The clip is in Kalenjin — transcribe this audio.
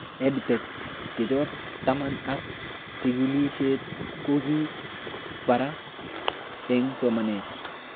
EdTech chechok taman ak chikilishet ko kii paraa eng' somanet